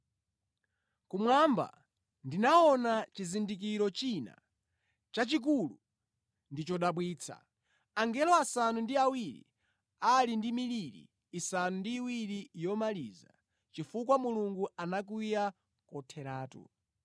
Kumwamba ndinaona chizindikiro china chachikulu ndi chodabwitsa: angelo asanu ndi awiri ali ndi miliri isanu ndi iwiri yomaliza chifukwa Mulungu anakwiya kotheratu.